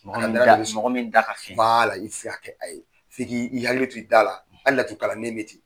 Mɔgɔ min da ka fiɲɛ i ti se ka kƐ a ye 'i k'i hakili to i da la ahali laturukalannen bɛ ten.